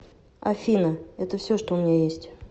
афина это все что у меня есть